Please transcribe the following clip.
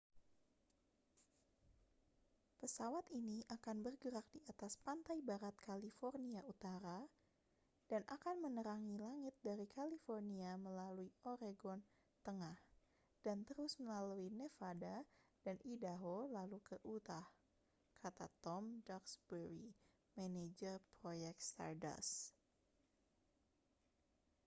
pesawat ini akan bergerak di atas pantai barat california utara dan akan menerangi langit dari california melalui oregon tengah dan terus melalui nevada dan idaho lalu ke utah kata tom duxbury manajer proyek stardust